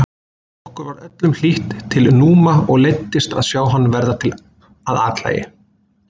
Okkur var öllum hlýtt til Núma og leiddist að sjá hann verða að athlægi.